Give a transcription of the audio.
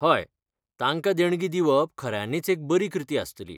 हय, तांकां देणगी दिवप खऱ्यांनीच एक बरी कृती आसतली.